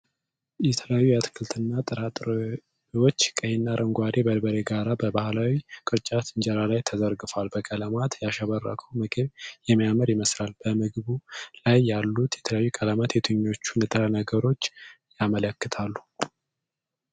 የተለያዩ አትክልትና ጥራጥሬዎች ቀይና አረንጓዴ በርበሬ ጋር በባህላዊ ቅርጫት እንጀራ ላይ ተዘርግተዋል። በቀለማት ያሸበረቀው ምግብ የሚያምር ይመስላል። በምግብ ላይ ያሉት የተለያዩ ቀለማት የትኞቹን ንጥረ ነገሮች ያመለክታሉ?